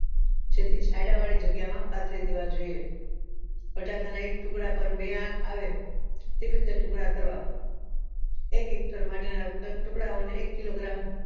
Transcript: જેથી છાયડા વાળા જગ્યા માં પાથરી દેવા જોઈએ બટાકા ના એક ટુકડા પર બે આંખ આવે તેવી રીતે ટુકડા કરવા એક hector માટેના ટુકડાઓને એક killogram